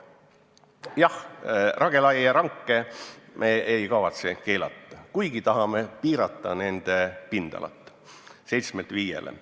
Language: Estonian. Jah, lageraielanke me ei kavatse keelata, kuigi tahame piirata nende pindala 7 hektarilt 5-le.